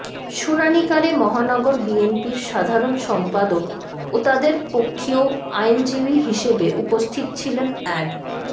শুনানিকালে মহানগর বিএনপির সাধারণ সম্পাদক ও তাদের পক্ষীয় আইনজীবী হিসেবে উপস্থিত ছিলেন অ্যাড